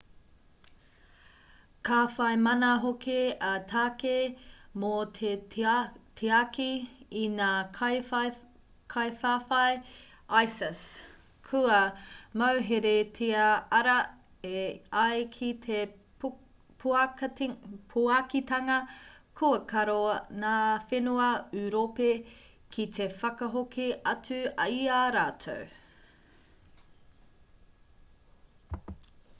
ka whai mana hoki a tākei mō te tiaki i ngā kaiwhawhai isis kua mauheretia arā e ai ki te puakitanga kua karo ngā whenua ūropi ki te whakahoki atu i a rātou